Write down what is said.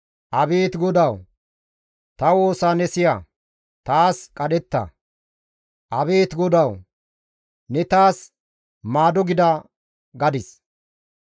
Abeet GODAWU! Ta woosa ne siya; taas qadhetta. Abeet GODAWU! Ne taas maado gida» gadis.